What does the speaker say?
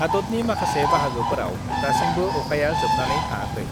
हादतनि माखासे बाहागोफोराव दासिमबो अखाया जोबनानै थाङाखै।